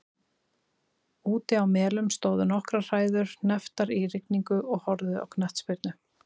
Úti á Melum stóðu nokkrar hræður hnepptar í rigningu og horfðu á knattspyrnu.